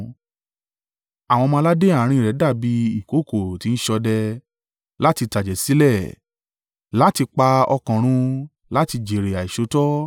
Àwọn ọmọ-aládé àárín rẹ̀ dàbí ìkookò ti ń ṣọdẹ, láti tàjẹ̀ sílẹ̀, láti pa ọkàn run, láti jèrè àìṣòótọ́.